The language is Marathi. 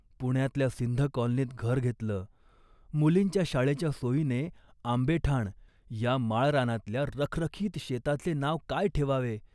पुण्यातल्या सिंध कॉलनीत घर घेतलं, मुलींच्या शाळेच्या सोयीने. आंबेठाण या माळरानातल्या रखरखीत शेताचे नाव काय ठेवावे